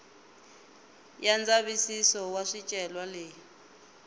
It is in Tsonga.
ya ndzavisiso wa swicelwa leyi